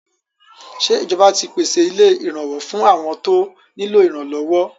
Ṣé ìjọba ti pèsè ilé ìrànwọ́ fún àwọn tó nílò ìrànlọ́wọ́?